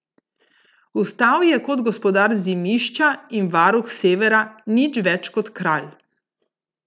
Vstal je kot gospodar Zimišča in varuh Severa, nič več kot kralj.